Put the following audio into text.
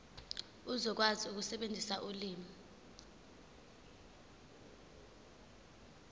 uzokwazi ukusebenzisa ulimi